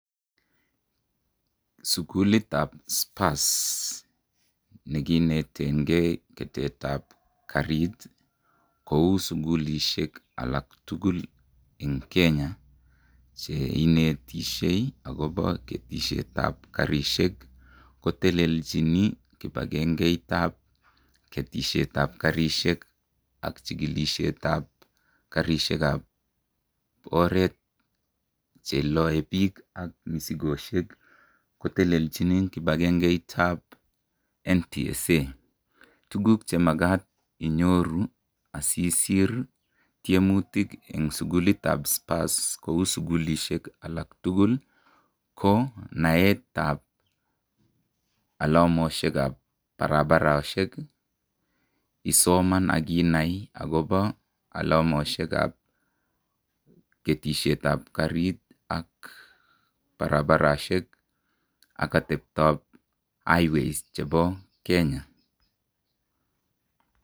Sugulitab spurs nekinetegen keretab karit kou sugulisiek alak tugul en Kenya cheinetisye akoba keretab karisiek ko tellelchin kibagengeit tab ketisiet tab karisiek ak chikilisiet tab karisiek kab oret cheale bik ak misikisiek kotelelchi kibakengeitab NTSA. Tuguk chemagat inyoru asisir ih tiemutik kou sugulitab spurs kouu sugulisiek tugul ih ko naetab alamasioekab barabar akisoman akielewan ih , alamosiekab ketesyetab karit ak barabarosiek ak atebto highways chebo Kenya